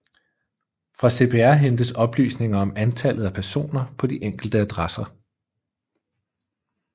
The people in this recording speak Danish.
Fra CPR hentes oplysninger om antallet af personer på de enkelte adresser